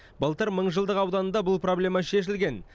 былтыр мыңжылдық ауданында бұл проблема шешілген